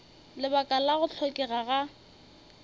lebaka la go hlokega ga